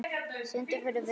Stundum fórum við langt.